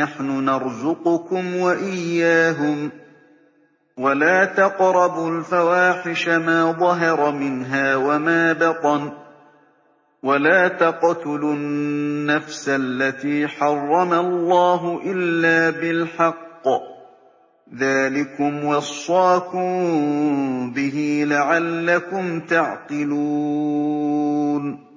نَّحْنُ نَرْزُقُكُمْ وَإِيَّاهُمْ ۖ وَلَا تَقْرَبُوا الْفَوَاحِشَ مَا ظَهَرَ مِنْهَا وَمَا بَطَنَ ۖ وَلَا تَقْتُلُوا النَّفْسَ الَّتِي حَرَّمَ اللَّهُ إِلَّا بِالْحَقِّ ۚ ذَٰلِكُمْ وَصَّاكُم بِهِ لَعَلَّكُمْ تَعْقِلُونَ